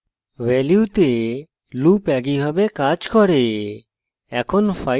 ভ্যালুতে loop একইভাবে কাজ করে